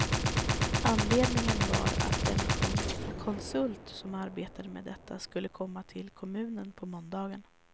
Anledningen var att den konsult som arbetar med detta skulle komma till kommunen på måndagen.